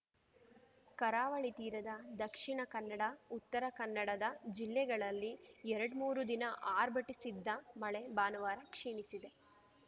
ಕರಾವಳಿ ತೀರದ ದಕ್ಷಿಣ ಕನ್ನಡ ಉತ್ತರ ಕನ್ನಡದ ಜಿಲ್ಲೆಗಳಲ್ಲಿ ಎರಡ್ಮೂರು ದಿನ ಆರ್ಭಟಿಸಿದ್ದ ಮಳೆ ಭಾನುವಾರ ಕ್ಷೀಣಿಸಿದೆ